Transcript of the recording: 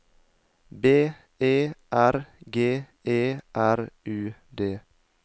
B E R G E R U D